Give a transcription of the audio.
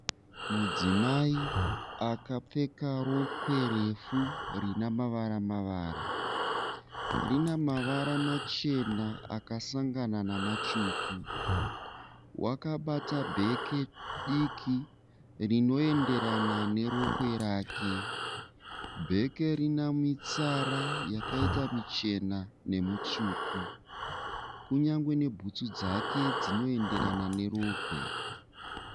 Mudzimai akapfeka rokwe refu rine mavara mavara. Rina mavara machena akasangana namatsvuku. Wakabata bheke diki rinoenderana nerokwe rake. Bheke rine mitsara yakaita michena nemutsvuku, kunyangwe nebhutsu dzake dzinoyenderana nerokwe.